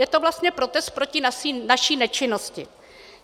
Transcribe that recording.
Je to vlastně protest proti naší nečinnosti.